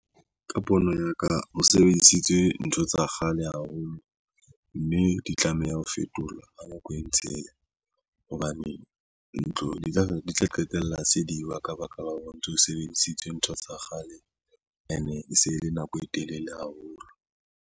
Ka pono ya ka, ho sebedisitswe ntho tsa kgale haholo, mme di tlameha ho fetola ka nako e ntse eya, hobane ntlo di tla qetella se diwa ka baka la hore o ntso sebedisitswe ntho tsa kgale ene e se le nako e telele haholo.